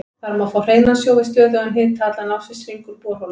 Þar má fá hreinan sjó við stöðugan hita allan ársins hring úr borholum.